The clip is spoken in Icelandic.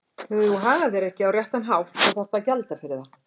Þegar þú hagar þér ekki á réttan hátt þá þarftu að gjalda fyrir það.